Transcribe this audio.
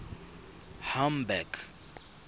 hamburg